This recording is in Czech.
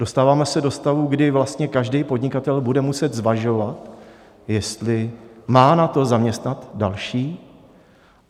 Dostáváme se do stavu, kdy vlastně každý podnikatel bude muset zvažovat, jestli má na to, zaměstnat další.